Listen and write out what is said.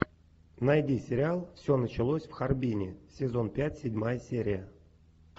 найди сериал все началось в харбине сезон пять седьмая серия